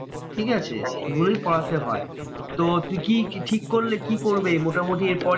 ঠিকাছে এগুলোই পড়াতে হয়। তো তুই কি কি ঠিক করলে? কি করবে মোটামুটি এরপরে?